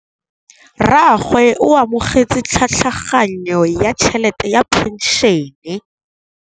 Rragwe o amogetse tlhatlhaganyô ya tšhelête ya phenšene.